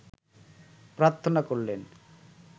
প্রার্থনা করলেন